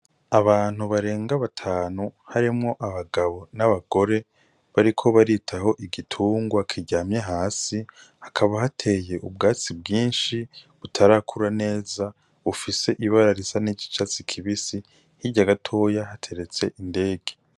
Abantu barenga batanu harimwo abagabo n' abagore bariko baritaho igitungwa kiryamya hakaba hateye ubwatsi bwinshi butarakura neza bufise ibara risa niry'icatsi kibisi hirya gatoya hateretse indege.